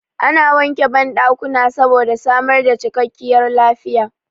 Ana wanke banɗakuna saboda samar da cikakkiyar lafiya